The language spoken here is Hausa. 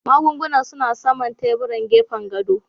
Magungunan suna saman teburin gefen gado